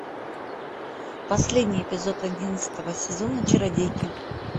последний эпизод одиннадцатого сезона чародейки